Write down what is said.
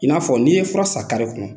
I n'a fɔ n'i ye fura san kare kɔnɔ